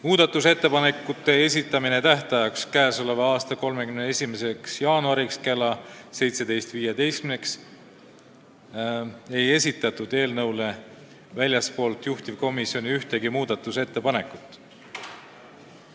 Muudatusettepanekute esitamise tähtajaks, mis oli 31. jaanuar kell 17.15, ei esitatud väljastpoolt juhtivkomisjoni ühtegi ettepanekut.